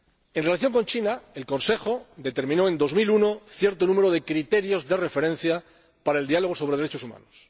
En relación con China, el Consejo determinó en el año 2001 cierto número de criterios de referencia para el Diálogo sobre Derechos Humanos.